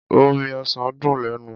Omi ọsàn dùn lẹ́nu.